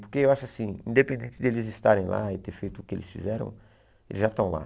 Porque eu acho assim, independente deles estarem lá e terem feito o que eles fizeram, eles já estão lá.